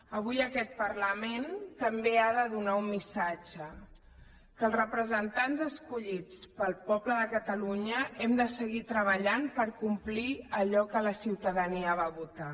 avui aquest parlament també ha de donar un missatge que els representants escollits pel poble de catalunya hem de seguir treballant per complir allò que la ciutadania va votar